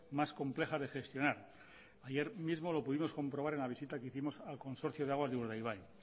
más complejas de gestionar ayer mismo lo pudimos comprobar en la vista que hicimos al consorcio de aguas de urdaibai